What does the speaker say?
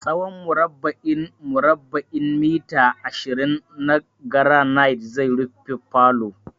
Tsawon murabba'in murabba'in mita ashirin na garanait zai rufe falo.